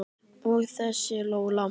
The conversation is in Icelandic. Og þessi Lola.